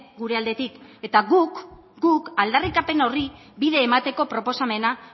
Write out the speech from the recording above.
gure aldetik eta guk aldarrikapen horri bide emateko proposamena